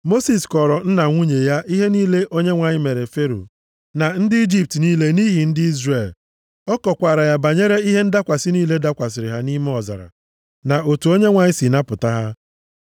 Mosis kọọrọ nna nwunye ya ihe niile Onyenwe anyị mere Fero na ndị Ijipt niile nʼihi ndị Izrel. Ọ kọkwaara ya banyere ihe ndakwasị niile dakwasịrị ha nʼime ọzara, na otu Onyenwe anyị si napụta ha.